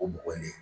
O mɔgɔ ɲini